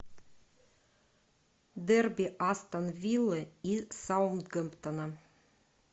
дерби астон виллы и саутгемптона